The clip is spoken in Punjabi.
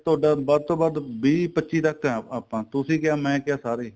ਤੁਹਾਡਾ ਵੱਧ ਤੋਂ ਵੱਧ ਵੀਹ ਪੱਚੀ ਤੱਕ ਆ ਆਪਾਂ ਤੁਸੀਂ ਕਿਆ ਮੈਂ ਕਿਆ ਸਾਰੇ